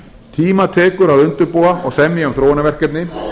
tíma tekur að undirbúa og semja um þróunarverkefni